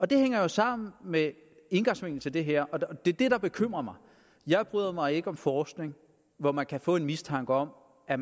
det hænger jo sammen med indgangsvinklen til det her og det er det der bekymrer mig jeg bryder mig ikke om forskning hvor man kan få en mistanke om at